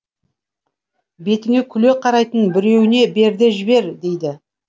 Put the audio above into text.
бетіңе күле қарайтын біреуіне бер де жібер дейді